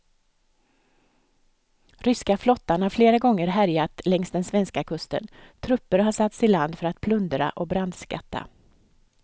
Ryska flottan har flera gånger härjat längs den svenska kusten, trupper har satts i land för att plundra och brandskatta.